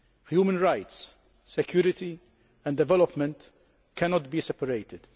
Human rights, security and development cannot be separated.